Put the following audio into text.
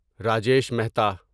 Rajesh Mehta